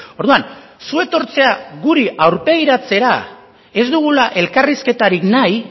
orduan zu etortzea guri aurpegiratzera ez dugula elkarrizketarik nahi